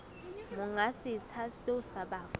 monga setsha seo sa bafu